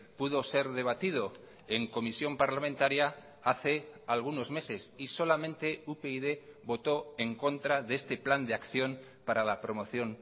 pudo ser debatido en comisión parlamentaria hace algunos meses y solamente upyd votó en contra de este plan de acción para la promoción